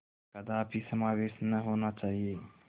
कदापि समावेश न होना चाहिए